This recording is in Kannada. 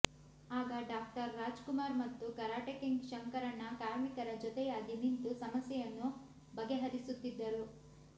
ಆಗ ಡಾಕ್ಟರ್ ರಾಜ್ ಕುಮಾರ್ ಮತ್ತು ಕರಾಟೆ ಕಿಂಗ್ ಶಂಕರಣ್ಣ ಕಾರ್ಮಿಕರ ಜೊತೆಯಾಗಿ ನಿಂತು ಸಮಸ್ಯೆಯನ್ನು ಬಗೆಹರಿಸುತ್ತಿದ್ದರು